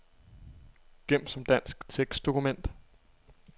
Gem som dansk tekstdokument.